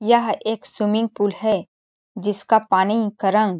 यह एक swimming pool है जिसका पानी का रंग --